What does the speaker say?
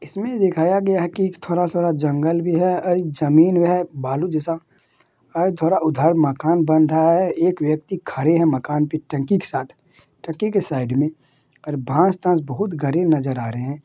इसमें दिखाया गया है की थोड़ा-थोड़ा जंगल भी है और जमीन जो है बालू जैसा और थोड़ा उधर मकान बन रहा है। एक व्यक्ति खड़े है मकान की टंकी के साथ टंकी के साइड में और बांस-टाँस बहुत गड़े नजर आ रहे हैं।